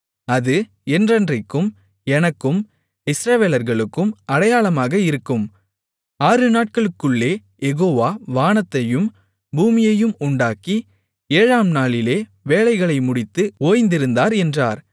அது என்றைக்கும் எனக்கும் இஸ்ரவேலர்களுக்கும் அடையாளமாக இருக்கும் ஆறுநாட்களுக்குள்ளே யெகோவா வானத்தையும் பூமியையும் உண்டாக்கி ஏழாம் நாளிலே வேலைகளை முடித்து ஓய்ந்திருந்தார் என்றார்